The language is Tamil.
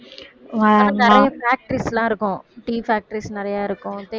நிறைய factories எல்லாம் இருக்கும் tea factories நிறைய இருக்கும்